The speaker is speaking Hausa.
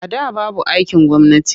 A da babu aikin gwamnati.